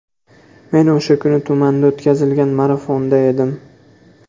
Men o‘sha kuni tumanda o‘tkazilgan marafonda edim.